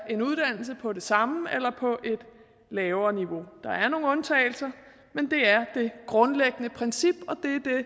en uddannelse på det samme eller på et lavere niveau der er nogle undtagelser men det er det grundlæggende princip og